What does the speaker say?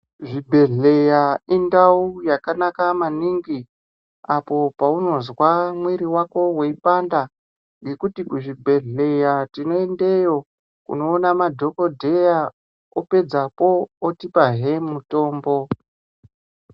Zvibhedhleya indau yakanaka maningi apo paunozwa mwiri wako weipanda ngekuti kuzvibhedhleya tinoendeyo kunoona madhokodheya opedzapo otipahe mutombo.